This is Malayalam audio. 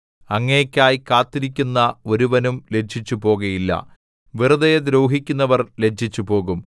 അങ്ങേയ്ക്കായി കാത്തിരിക്കുന്ന ഒരുവനും ലജ്ജിച്ചു പോകുകയില്ല വെറുതെ ദ്രോഹിക്കുന്നവർ ലജ്ജിച്ചുപോകും